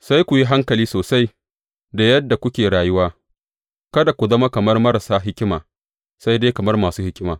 Sai ku yi hankali sosai da yadda kuke rayuwa, kada ku zama kamar marasa hikima, sai dai kamar masu hikima.